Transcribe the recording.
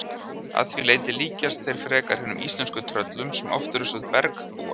Að því leyti líkjast þeir frekar hinum íslensku tröllum sem oft eru sögð bergbúar.